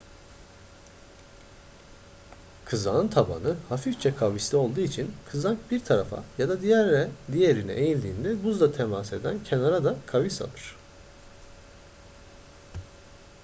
kızağın tabanı hafifçe kavisli olduğu için kızak bir tarafa ya da diğerine eğildiğinde buzla temas eden kenar da kavis alır